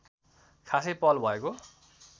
खासै पहल भएको